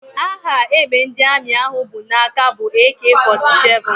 Aha égbè ndị Armi ahụ bụ n'aka bụ AK 47